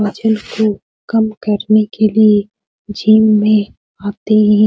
वजन को काम करने के लिए जिम में आते हैं।